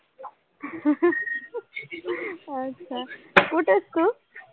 अच्छा! कुठे आहेस तू?